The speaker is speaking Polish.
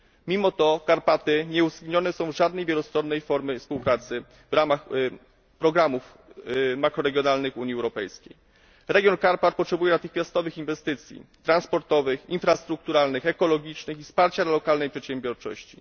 Mimo to Karpaty nie są uwzględnione w żadnej wielostronnej formie współpracy w ramach programów makroregionalnych Unii Europejskiej. Region Karpat potrzebuje natychmiastowych inwestycji transportowych, infrastrukturalnych, ekologicznych i wsparcia dla lokalnej przedsiębiorczości.